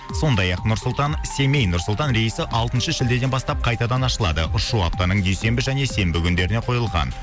сондай ақ нұр сұлтан семей нұр сұлтан рейісі алтыншы шілдеден бастап қайтадан ашылады ұшу аптаның дүйсенбі және сенбі күндеріне қойылған